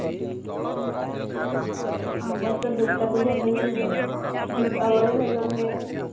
ଆମର ତ ଦୂର୍ଗା ପୂଜା ଭଲ ହୁଏ ଦୀପାବଳି ଭଲ ହୁଏ